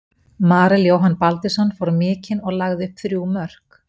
Marel Jóhann Baldvinsson fór mikinn og lagði upp þrjú mörk.